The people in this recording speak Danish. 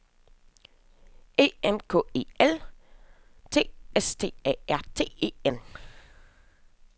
E N K E L T S T A R T E N